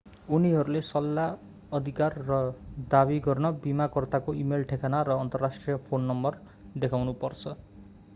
उनीहरूले सल्लाह/अधिकार र दावी गर्न बीमाकर्ताको इमेल ठेगाना र अन्तर्राष्ट्रिय फोन नम्बर देखाउनु पर्छ।